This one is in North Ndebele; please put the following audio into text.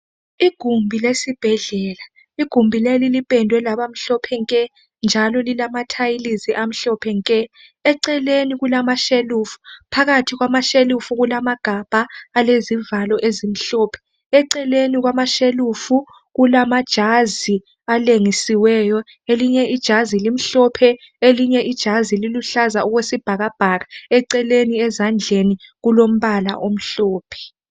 igumbi lesibhedlela igumbi leli lipendwe laba mhlophe nke njalo lilama thayilizi amhlophe nke eceleni kulamashelufu phakathi kwama shelufu kulamagabha alezivalo ezimhlophe eceleni kwamashelufu kulamajazi alengisiweyo elinye ijazi limhlophe elinye ijazi liluhlaza okwesibhakabhaka eceleni ezandleni lilombala omhlophe